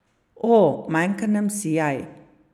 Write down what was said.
O, manjka nam sijaj.